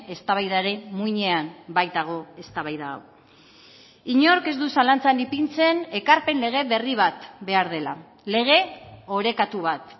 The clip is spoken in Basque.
eztabaidaren muinean baitago eztabaida hau inork ez du zalantzan ipintzen ekarpen lege berri bat behar dela lege orekatu bat